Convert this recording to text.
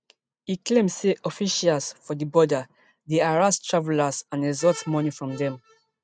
e claim say officials for di border dey harass travellers and extort money from dem